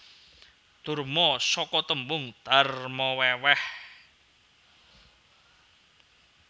Durma Saka tembung darma wèwèh